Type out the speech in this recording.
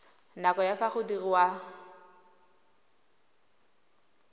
nako ya fa go diriwa